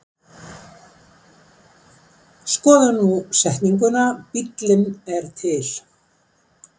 Skoðum nú setninguna Bíllinn er til.